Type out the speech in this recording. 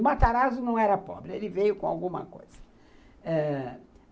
O Matarazzo não era pobre, ele veio com alguma coisa. Ãh